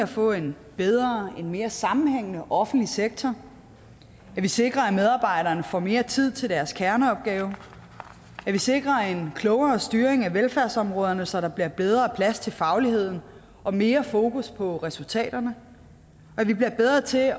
får en bedre og mere sammenhængende offentlig sektor at vi sikrer at medarbejderne får mere tid til deres kerneopgaver at vi sikrer en klogere styring af velfærdsområderne så der bliver bedre plads til fagligheden og mere fokus på resultaterne og at vi bliver bedre til at